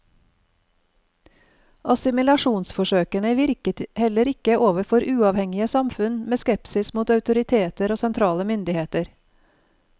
Assimilasjonsforsøkene virket heller ikke overfor uavhengige samfunn med skepsis mot autoriteter og sentrale myndigheter.